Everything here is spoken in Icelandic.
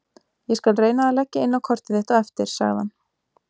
Ég skal reyna að leggja inn á kortið þitt á eftir- sagði hann.